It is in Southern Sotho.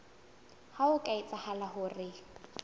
ha ho ka etseha hore